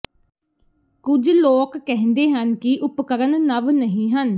ਕੁਝ ਲੋਕ ਕਹਿੰਦੇ ਹਨ ਕਿ ਉਪਕਰਣ ਨਵ ਨਹੀ ਹਨ